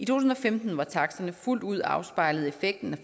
tusind og femten hvor taksterne fuldt ud afspejlede effekten